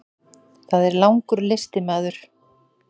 Það er langur listi maður.